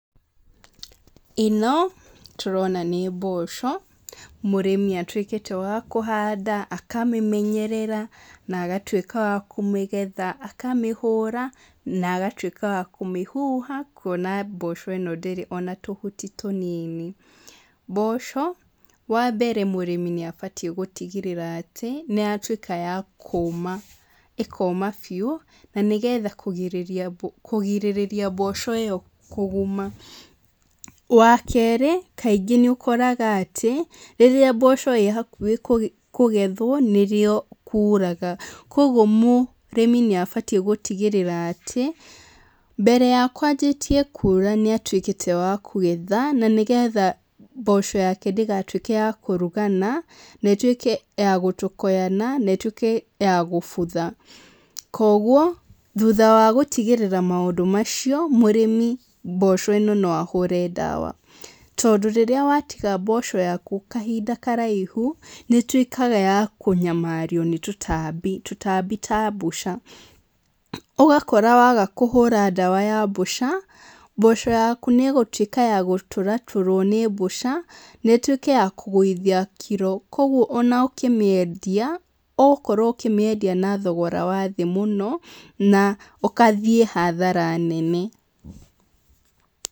ĩno, tũrona nĩ mboco, mũrĩmi atuĩkĩte wa kũhanda akamĩmenyerera, na agatuĩka wa kũmĩgetha. Akamĩhũra, na agatuĩka wa kũmĩhuha, kuona mboco ĩno ndĩrĩ ona tũhuti tũnini. Mboco, wa mbere mũrĩmi abatiĩ gũtigĩrĩra atĩ, nĩ yatuĩka ya kũũma. ĩkooma biũ, na nĩgetha kũgirĩrĩria kũgirĩrĩria mboco ĩyo kũguma. Wa keerĩ, kaingĩ nĩ ũkoraga atĩ, rĩrĩa mboco ĩĩ hakuhĩ kũgethwo, nĩ rĩo kuraga. Kũguo mũrĩmi nĩ abatiĩ gũtigĩrĩra atĩ, mbere ya kwanjĩtie kuura nĩ atuĩkĩte wa kũgetha, na nĩgetha mboco yake ndĩgatuĩke ya kũrugana, na ĩtuĩke ya gũtokoyana, na ĩtuĩke ya gũbutha. Kũguo, thutha wa gũtigĩrĩra maũndũ macio, mũrĩmi mboco ĩno no ahũre ndawa. Tondũ rĩrĩa watiga mboco yaku kahinda karaihu, nĩ ĩtuĩkaga ya kũnyamario nĩ tũtambi, tũtambi ta mbũca. Ũgakora waga kũhũra ndawa ya mbũca, mboco yaku nĩ ĩgũtuĩka ya gũtũratũrwo nĩ mbũca, na ĩtuĩke ya kũgũithia kiro. Kũguo ona ũkĩmĩendia, ũgũkorwo ũkĩmĩendia na thogora wa thĩ mũno, na ũkathiĩ hathara nene.